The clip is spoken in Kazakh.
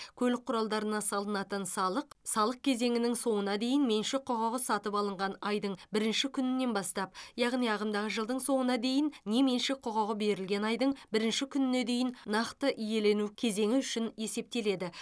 көлік құралдарына салынатын салық салық кезеңінің соңына дейін меншік құқығы сатып алынған айдың бірінші күнінен бастап яғни ағымдағы жылдың соңына дейін не меншік құқығы берілген айдың бірінші күніне дейін нақты иелену кезеңі үшін есептеледі